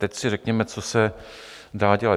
Teď si řekněme, co se dá dělat.